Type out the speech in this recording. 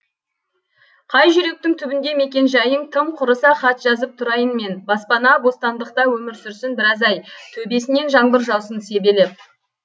қай жүректің түбінде мекен жайың тым құрыса хат жазып тұрайын мен баспана бостандықта өмір сүрсін біраз ай төбесінен жаңбыр жаусын себелеп